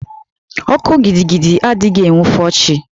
Oku gidigidi adịghị enwufo chi.